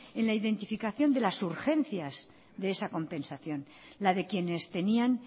en la identificación de las urgencias de esa compensación la de quienes tenían